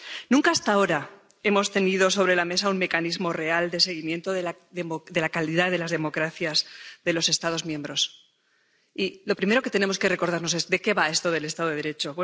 Nunca hasta ahora hemos tenido sobre la mesa un mecanismo real de seguimiento de la calidad de las democracias de los Estados miembros, y lo primero que tenemos que recordarnos es de qué va esto del Estado de Derecho.